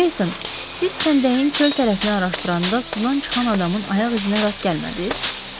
Meyson, siz xəndəyin çöl tərəfini araşdıranda sudan çıxan adamın ayaq izinə rast gəlmədiniz?